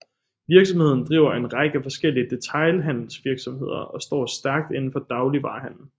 Virksomheden driver en række forskellige detailhandelsvirksomheder og står stærk indenfor dagligvarehandel